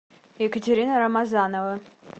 екатерина рамазанова